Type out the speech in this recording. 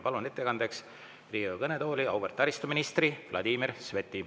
Palun ettekandjaks Riigikogu kõnetooli auväärt taristuministri Vladimir Sveti.